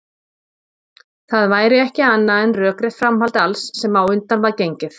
Það væri ekki annað en rökrétt framhald alls sem á undan var gengið.